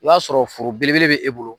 I b'a sɔrɔ foro belebele bɛ e bolo.